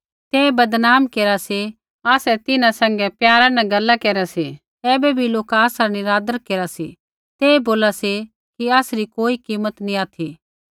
ते बदनाम केरा सी आसै तिन्हां सैंघै प्यारा न गैला केरा सी ऐबै भी लोका आसरा निरादर केरा सी ते बोला सी कि आसरी कोई कीमत नैंई ऑथि